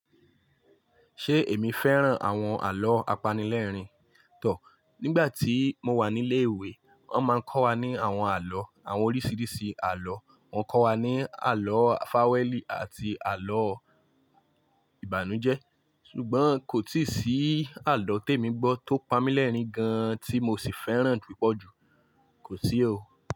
Ṣé èmi fẹ́ràn àwọn àlọ́ apanilẹ́rìn tọ̀? Nígbà tí mo wà ní ilé ìwé, wọ́n máa ń kọ́ wa ní àwọn àlọ́, àwọn oríṣiríṣi àlọ́. Wọ́n kọ́ wa ní àlọ́ fawẹ́ẹ́lì àti àlọ́ ìbànújẹ́. Ṣùgbọ́n kò tíì sí àlọ́ tèmí gbọ́ tó pamú lẹ́rìn-ín gan-an tí mo sì fẹ́ràn púpọ̀ jù. Kò sí o.